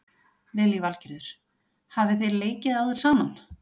Lillý Valgerður: Hafi þið leikið áður saman?